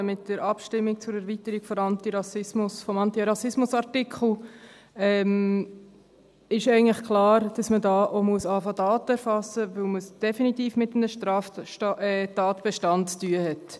Mit der Abstimmung zur Erweiterung des Antirassismusartikels ist eigentlich klar, dass man auch hier beginnen muss, Daten zu erfassen, weil man es definitiv mit einem Straftatbestand zu tun hat.